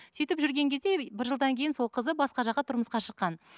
сүйтіп жүрген кезде бір жылдан кейін сол қызы басқа жаққа тұрмысқа шыққан